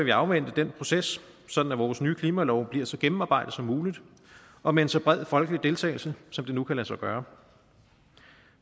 jeg afvente den proces sådan at vores nye klimalov bliver så gennemarbejdet som muligt og med en så bred folkelig deltagelse som det nu kan lade sig gøre